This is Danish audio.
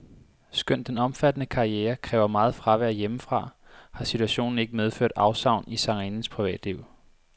Skønt den omfattende karriere kræver meget fravær hjemmefra, har situationen ikke medført afsavn i sangerindens privatliv.